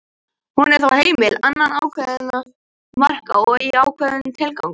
hún er þó heimil innan ákveðinna marka og í ákveðnum tilgangi